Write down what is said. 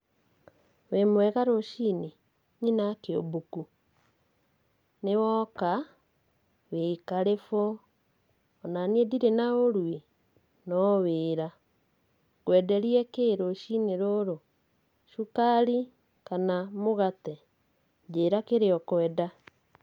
Wĩmwega rũci-inĩ nyina wakĩũmbũku? nĩ woka? wĩ karibu. Onaniĩ ndirĩ na ũru ĩ, no wĩra. Ngwenderie kĩ rũci-inĩ rũrũ? cukari kana mũgate? njĩra kĩrĩa ũkwenda.